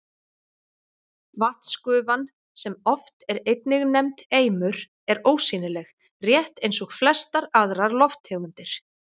Vatnsgufan, sem oft er einnig nefnd eimur, er ósýnileg, rétt eins og flestar aðrar lofttegundir.